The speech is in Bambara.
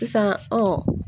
Sisan ɔ